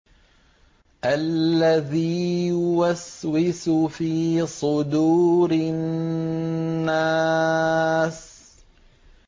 الَّذِي يُوَسْوِسُ فِي صُدُورِ النَّاسِ